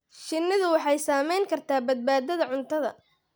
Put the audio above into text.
Shinnidu waxay saamayn kartaa badbaadada cuntada.